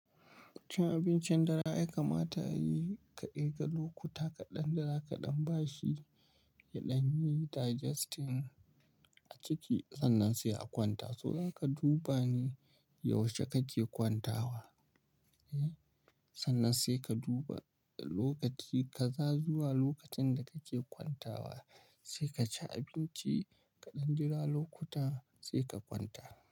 Cin abincin dare ai kamata ya yi kaɗai ga lokuta kaɗan da za kaɗan bashi yaɗan yi digesting a ciki, sannan sai a kwanta. So idan ka duba ne yaushe kake kwantawa, eh, sannan sai ka duba lokaci kaza zuwa lokacin da kake kwantawa sai ka ci abinci kaɗan jira lokuta sai ka kwanta.